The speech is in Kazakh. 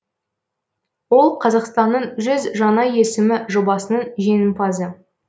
ол қазақстанның жүз жаңа есімі жобасының жеңімпазы